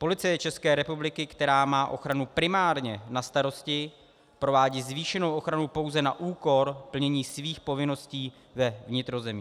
Policie České republiky, která má ochranu primárně na starosti, provádí zvýšenou ochranu pouze na úkor plnění svých povinností ve vnitrozemí.